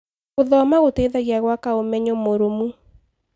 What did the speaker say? Gũthoma gũteithagia gwaka ũmenyo mũrũmu.